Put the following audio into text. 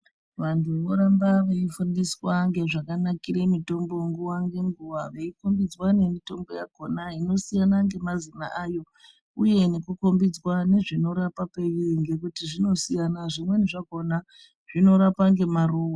Vantu voramba veifundiswa ngezvakanakira mutombo nguwa ngenguwa veikombidzwa nemutombo yakona inosiyana nemazina ayo uye nekukombidzwa nezvinorapa peiri zvinosiyana ngekuti zvimweni zvakhona zvinorapa ngemaruwa.